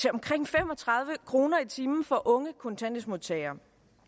omkring fem og tredive kroner i timen for unge kontanthjælpsmodtagere